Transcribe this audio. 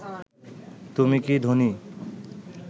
তুমি কি ধোনি